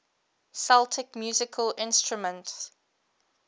celtic musical instruments